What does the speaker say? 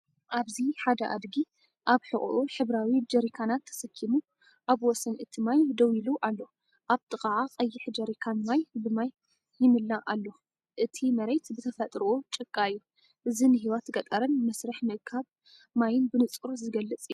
ኣብዚ ሓደ ኣድጊ ኣብ ሕቖኡ ሕብራዊ ጀሪካናት ተሰኪሙ ኣብ ወሰን እቲ ማይ ደው ኢሉ ኣሎ። ኣብ ጥቓኣ ቀይሕ ጀሪካን ማይ ብማይ ይምላእ ኣሎ። እቲ መሬት ብተፈጥሮኡ ጭቃ እዩ። እዚ ንህይወት ገጠርን መስርሕ ምእካብ ማይን ብንጹር ዝገልጽ እዩ።